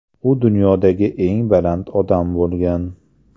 U dunyodagi eng baland odam bo‘lgan.